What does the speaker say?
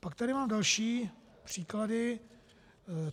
Pak tady mám další příklady.